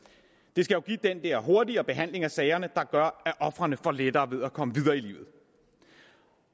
det skal give den der hurtigere behandling af sagerne der gør at ofrene får lettere ved at komme videre i livet